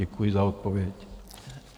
Děkuji za odpověď.